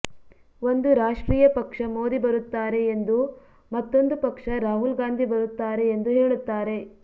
ಒಂದು ರಾಷ್ಟ್ರೀಯ ಪಕ್ಷ ಮೋದಿ ಬರುತ್ತಾರೆ ಎಂದು ಮತ್ತೊಂದು ಪಕ್ಷ ರಾಹುಲ್ ಗಾಂಧಿ ಬರುತ್ತಾರೆ ಎಂದು ಹೇಳುತ್ತಾರೆ